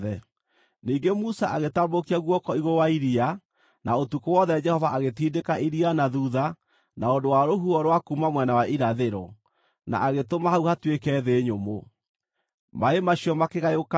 Ningĩ Musa agĩtambũrũkia guoko igũrũ wa iria, na ũtukũ wothe Jehova agĩtindĩka iria na thuutha na ũndũ wa rũhuho rwa kuuma mwena wa irathĩro, na agĩtũma hau hatuĩke thĩ nyũmũ. Maaĩ macio makĩgayũkana,